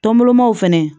Tɔnbolimaw fɛnɛ